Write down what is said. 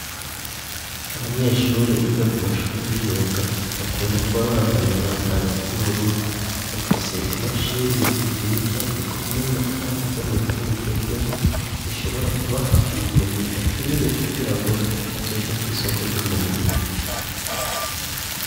Abanyeshuri biga ku mashuri y'imyuga, bakunda kuba bambaye umwambaro w'ubururu, bafise imashini nziza zikomeye, kandi zo mu buryo bugezweho zishobora kubaha ubumenyi bakeneye, kugira ngo bazoje ku isoko ry'umurimo.